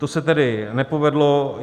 To se tedy nepovedlo.